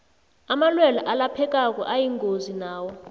amalwelwe alaphekako ayingozi nawo